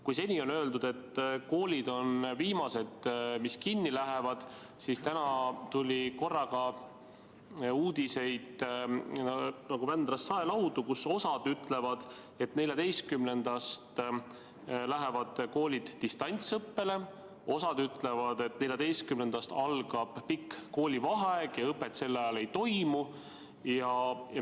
Kui seni on öeldud, et koolid on viimased, mis kinni lähevad, siis täna tuli korraga nagu Vändrast saelaudu uudiseid, millest osa ütleb, et 14‑ndast lähevad koolid distantsõppele, ja osa ütleb, et 14‑ndast algab pikk koolivaheaeg ja õpet sel ajal ei toimu.